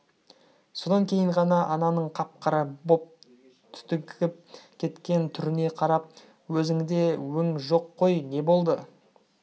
содан кейін ғана ананың қап-қара боп түтігіп кеткен түріне қарап өзіңде өң жоқ қой не болды